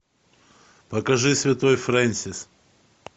покажи святой фрэнсис